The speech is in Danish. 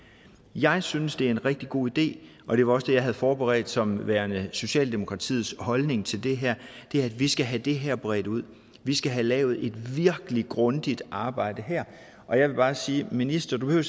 jeg synes det er en rigtig god idé og det var også det jeg havde forberedt som værende socialdemokratiets holdning til det her at vi skal have det her bredt ud vi skal have lavet et virkelig grundigt arbejde og jeg vil bare sige minister du